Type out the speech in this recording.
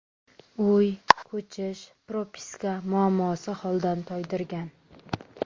Uy, ko‘chish, propiska muammosi holdan toydirgan.